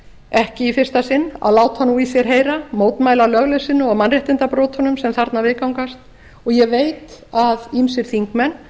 ekki í fyrsta sinn að láta nú í sér heyra mótmæla lögleysunni og mannréttindabrotunum sem þarna viðgangast og ég veit að ýmsir þingmenn